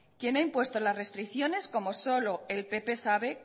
quien ha impuesto las restricciones como solo el pp sabe